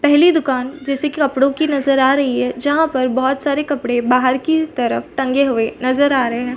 पहली दुकान जैसे की कपड़ो की नजर आ रही है जहाँ पर बहुत सारे कपड़े बाहर की तरफ़ टंगे हुए नज़र आ रहे है।